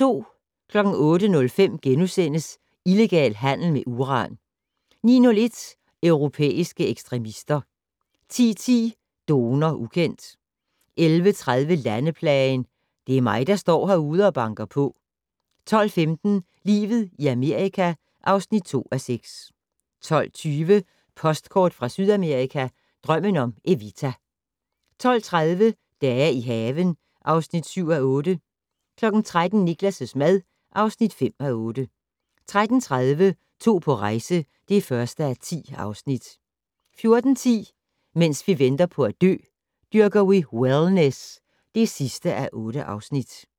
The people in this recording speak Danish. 08:05: Illegal handel med uran * 09:01: Europæiske ekstremister 10:10: Donor ukendt 11:30: Landeplagen - "Det er mig der står herude og banker på" 12:15: Livet i Amerika (2:6) 12:20: Postkort fra Sydamerika: Drømmen om Evita 12:30: Dage i haven (7:8) 13:00: Niklas' mad (5:8) 13:30: To på rejse (1:10) 14:10: Mens vi venter på at dø - Dyrker vi wellness (8:8)